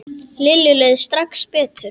Lillu leið strax betur.